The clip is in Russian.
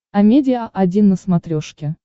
амедиа один на смотрешке